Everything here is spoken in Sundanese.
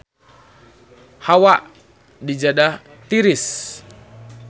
Hawa di Jeddah tiris